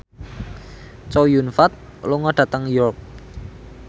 Chow Yun Fat lunga dhateng York